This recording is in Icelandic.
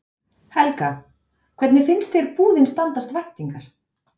Helga: Hvernig finnst þér búðin standast væntingar?